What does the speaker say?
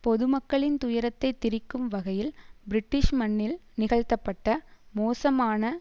பொது மக்களின் துயரத்தை திரிக்கும் வகையில் பிரிட்டிஷ் மண்ணில் நிகழ்த்தப்பட்ட மோசமான